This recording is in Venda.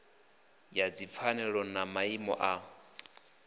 ya dzipfanelo na maimo a